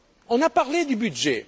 faisons. On a parlé du